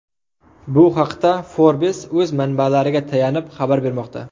Bu haqda Forbes o‘z manbalariga tayanib xabar bermoqda .